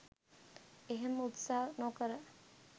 එහෙම උත්සාහ නොකර